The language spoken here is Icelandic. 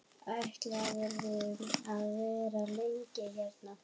Ætlarðu að vera lengi hérna?